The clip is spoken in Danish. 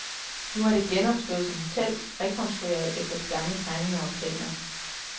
Nu er det genopstået som hotel, rekonstrueret efter de gamle tegninger og planer.